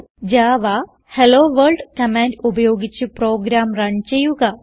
Java hello world command ഉപയോഗിച്ച് program run ചെയ്യുക